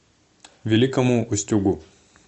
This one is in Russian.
великому устюгу